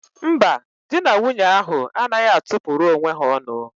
Mba, dị na nwunye ahụ anaghị atụ pụrụ onwe ha ọnụ.